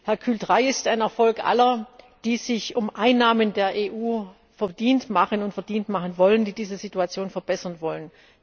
Hercule III ist ein Erfolg aller, die sich um Einnahmen der EU verdient machen und verdient machen wollen, die diese Situation verbessern wollen.